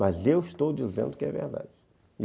Mas eu estou dizendo que é verdade.